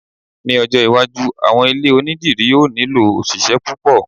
ní ọjọ iwájú, àwọn ilé onidiri o ni nilo òṣìṣẹ́ púpò